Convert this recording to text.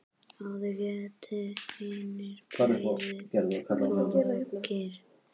Áður hétu hinir breiðu bökin.